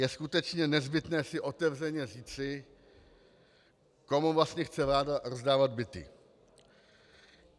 Je skutečně nezbytné si otevřeně říci, komu vlastně chce vláda rozdávat byty.